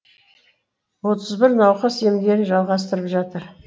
отыз бір науқас емдерін жалғастырып жатыр